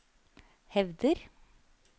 hevder